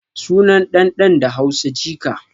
Sunan ɗan ɗan da Hausa jika